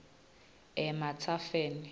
ematsafeni